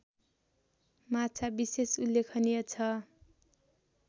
माछा विशेष उल्लेखनीय छ